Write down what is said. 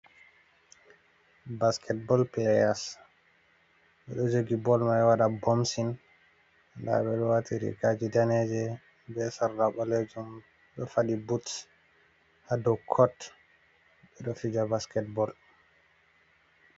Basketbal playas bedo jogi bol mai wada bomsin ,dabe do wati rikaji daneje be sarla bolejom do fadi buts hado cot bedo fija basketbal.